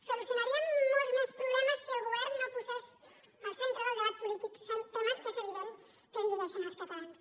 solucionaríem molts més problemes si el govern no posés al centre del debat polític temes que és evident que divideixen els catalans